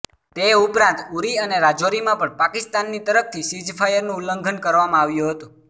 તે ઉપરાંત ઉરી અને રાજૌરીમાં પણ પાકિસ્તાનની તરફથી સીઝ ફાયરનું ઉલ્લંઘન કરવામાં આવ્યું હતું